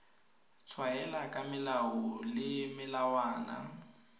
tshwaela ka melao le melawana